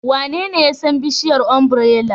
Wanene ya san bishiyar ombirela?